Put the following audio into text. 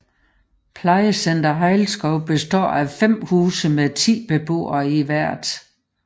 Plejecenter Hejlskov består af 5 huse med 10 beboere i hvert